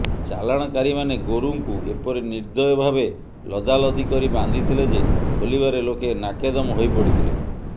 ଚାଲାଣକାରୀମାନେ ଗୋରୁଙ୍କୁ ଏପରି ନିର୍ଦ୍ଧୟ ଭାବେ ଲଦାଲଦି କରି ବାନ୍ଧିଥିଲେ ଯେ ଖୋଲିବାରେ ଲୋକେ ନାକେଦମ୍ ହୋଇପଡ଼ିଥିଲେ